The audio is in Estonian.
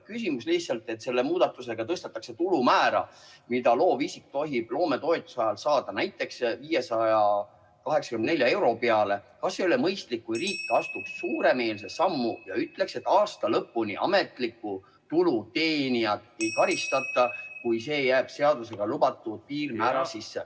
Küsimus on lihtsalt see, et kui selle muudatusega tõstetakse tulu määra, mida loovisik tohib loometoetuse ajal saada, näiteks 584 euro peale, siis kas ei oleks mõistlik, kui riik astuks suuremeelse sammu ja ütleks, et ametliku tulu teenijat aasta lõpuni ei karistata, kui see tulu jääb seadusega lubatud piirmäära sisse.